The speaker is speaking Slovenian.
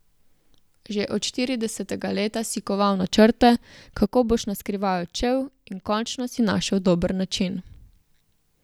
Že od štiridesetega leta si koval načrte, kako boš naskrivaj odšel, in končno si našel dober način.